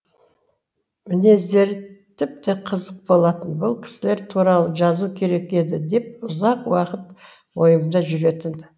мінездері тіпте қызық болатын бұл кісілер туралы жазу керек еді деп ұзақ уақыт ойымда жүретін